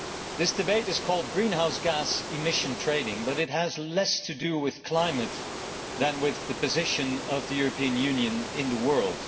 This debate is called greenhouse gas emission trading, but it has less to do with climate than with the position of the European Union in the world.